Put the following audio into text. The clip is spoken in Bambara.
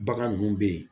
Bagan ninnu bɛ yen